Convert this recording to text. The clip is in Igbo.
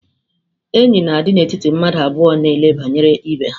Enyi na-adị n'etiti mmadụ abụọ na ele banyere ibe ha.